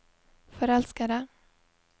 forelskede